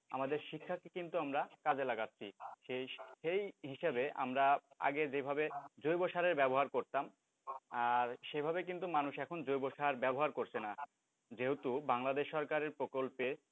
আমাদের শিক্ষাকে কিন্তু আমরা কাজে লাগাছি, সেই হিসেবে আমরা আগে যেভাবে জৈব সারের ব্যবহার করতাম সেইভাবে কিন্তু মানুষ এখন জৈব সার আর ব্যবহার করছে না, যেহেতু বাংলাদেশ সরকারের প্রকল্পে,